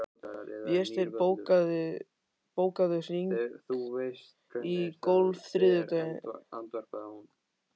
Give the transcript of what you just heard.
Vésteinn, bókaðu hring í golf á þriðjudaginn.